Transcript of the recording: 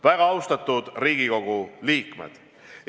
Väga austatud Riigikogu liikmed!